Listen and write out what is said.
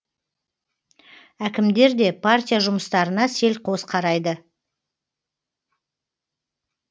әкімдер де партия жұмыстарына селқос қарайды